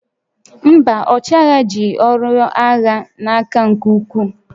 Mba, ọchịagha ji ọrụ agha n'aka nke ukwuu